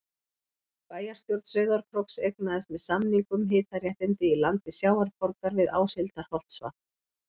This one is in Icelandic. Bæjarstjórn Sauðárkróks eignaðist með samningum hitaréttindi í landi Sjávarborgar við Áshildarholtsvatn.